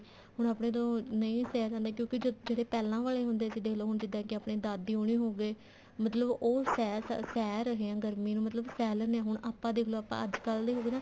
ਹੁਣ ਆਪਣੇ ਤੋਂ ਨਹੀਂ ਸਿਹਾ ਜਾਂਦਾ ਜਿਹੜੇ ਪਹਿਲਾਂ ਵਾਲੇ ਹੁੰਦੇ ਸੀ ਦੋਖ੍ਲੋ ਕੇ ਜਿੱਦਾਂ ਕੇ ਹੁਣ ਦਾਦੀ ਉਹਨੀ ਹੋਗੇ ਮਤਲਬ ਉਹ ਸਹਿ ਰਹੇ ਆਂ ਗਰਮੀ ਨੂੰ ਮਤਲਬ ਸਹਿ ਲੈਂਦੇ ਆਂ ਆਪਾਂ ਦੇਖਲੋ ਆਪਾਂ ਅੱਜਕਲ ਦੇ ਹੋਗੇ ਨਾ